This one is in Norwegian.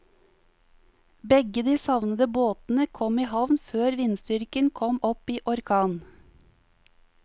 Begge de savnede båtene kom i havn før vindstyrken kom opp i orkan.